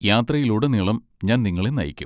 യാത്രയിലുടനീളം ഞാൻ നിങ്ങളെ നയിക്കും.